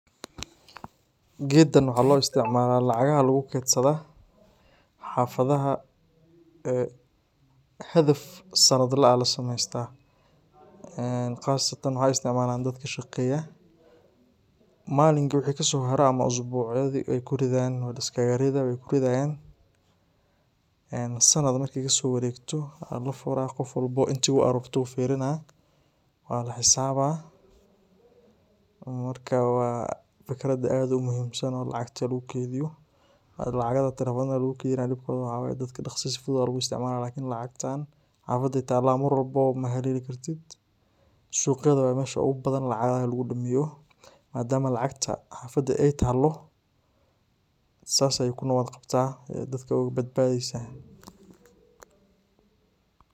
Gedkan waxa lugusameya lacagaha aya lugukedsada, xafadaha hadaf sanadle eeh aya lasamesta ee qasatan waxa isticmala dadka shaqeya malinka ama isbuci wixi kasoharo aya kuridan ee sanad markey kasowaregto aya lafura qof walbo intu ugashee walaxisaba marka wa fikrad aad umuhiim san oo lacagta lugukeydiyo oo lacagta telefonada lugukeydiyo dibkoda waxa waye dadka daqsi ayey isticmalahyan lakin lacagtan cidey tala mar walbo mahaleli karitd suqyada waye meesha badi lacagta lugugubo. Madam lacagta xadafa ey talo sidas ayey ogabadbadeysa.